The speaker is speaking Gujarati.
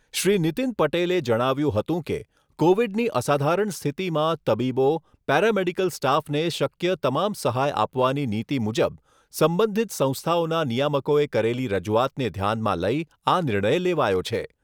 શ્રી નીતીન પટેલે જણાવ્યુંં હતું કે, કોવિડની અસાધારણ સ્થિતિમાં તબીબો, પેરામેડિકલ સ્ટાફને શક્ય તમામ સહાય આપવાની નીતી મુજબ, સંબંધિત સંસ્થાઓના નિયામકોએ કરેલી રજૂઆતને ધ્યાનમાં લઈ આ નિર્ણય લેવાયો છે.